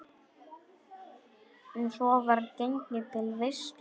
Svo var gengið til veislu.